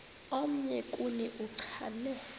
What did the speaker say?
omnye kuni uchane